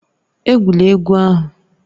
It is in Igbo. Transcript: Egwula egwu ahụ!